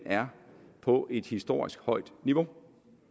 er på et historisk højt niveau